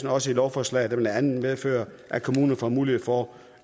også et lovforslag der blandt andet medfører at kommuner får mulighed for